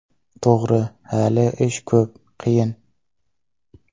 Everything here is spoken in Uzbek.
To‘g‘ri, hali ish ko‘p, qiyin.